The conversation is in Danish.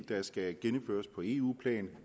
der skal gennemføres på eu plan